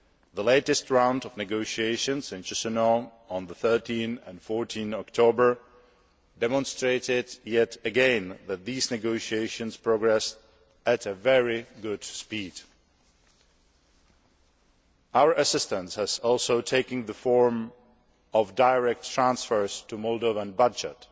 The latest round of negotiations in Chisinau on 13 and 14 October demonstrated yet again that these negotiations are progressing at a very good speed. Our assistance has also taken the form of direct transfers to the Moldovan budget.